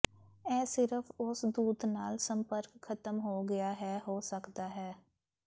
ਇਹ ਸਿਰਫ਼ ਉਸ ਦੂਤ ਨਾਲ ਸੰਪਰਕ ਖਤਮ ਹੋ ਗਿਆ ਹੈ ਹੋ ਸਕਦਾ ਹੈ